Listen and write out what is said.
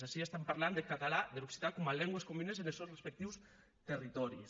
ací parlam deth catalan der occitan coma lengües comunes enes sòns respectius territòris